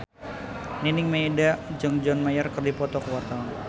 Nining Meida jeung John Mayer keur dipoto ku wartawan